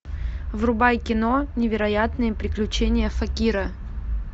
врубай кино невероятные приключения факира